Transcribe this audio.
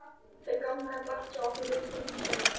Þau ganga glatt hjá okkur viðskiptin, sonur sæll.